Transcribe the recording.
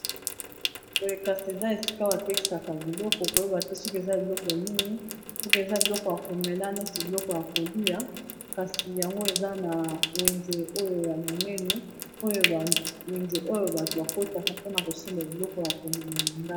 Boye kasi eza esika batekisaka biloko koyeba te soki eza biloko nini soki eza biloko ya komela neti biloko ya kolia kasi yango eza na wenze oyo ya monene oyo bawenze oyo bato bakotaka mpona kosemba biloko ya komela.